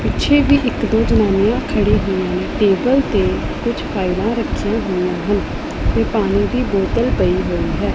ਪਿੱਛੇ ਵੀ ਇੱਕ ਦੋ ਜਨਾਨੀਆਂ ਖੜੀ ਹੋਈਆਂ ਟੇਬਲ ਤੇ ਕੁਝ ਫਾਈਲਾਂ ਰੱਖੀਆਂ ਹੋਈਆਂ ਹਨ ਤੇ ਪਾਣੀ ਦੀ ਬੋਤਲ ਪਈ ਹੋਈ ਹੈ।